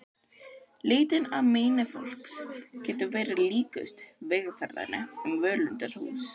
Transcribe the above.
Leitin að meini fólks getur verið líkust vegferð um völundarhús.